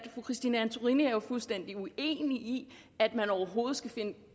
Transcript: fru christine antorini er jo fuldstændig uenig i at man overhovedet skal finde